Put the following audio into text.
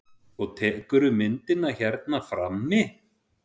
Og tekurðu myndirnar hérna frammi?